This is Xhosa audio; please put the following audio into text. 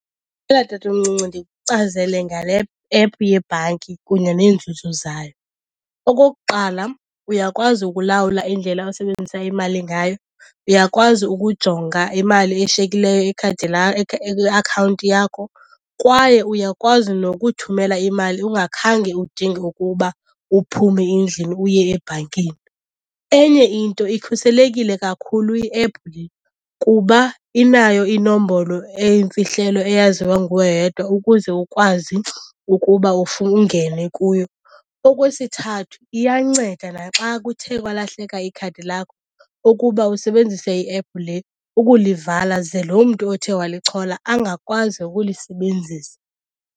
tatomncinci ndikuchazele ngale ephu yebhanki kunye neenzuzo zayo. Okokuqala uyakwazi ukulawula indlela osebenzisa imali ngayo, uyakwazi ukujonga imali eshiyekileyo lakho kwiakhawunti yakho kwaye uyakwazi nokuthumela imali ungakhange udinge ukuba uphume endlini uye ebhankini. Enye into, ikhuselekile kakhulu iephu le kuba inayo inombolo eyimfihlelo eyaziwa nguwe wedwa ukuze ukwazi ukuba ungene kuyo. Okwesithathu iyanceda naxa kuthe kwalahleka ikhadi lakho ukuba usebenzise iephu le ukulivala, ze loo mntu othe walichola angakwazi ukulisebenzisa.